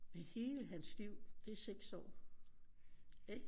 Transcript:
Men hele hans liv det er 6 år ikke